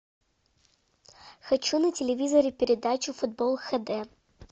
хочу на телевизоре передачу футбол хд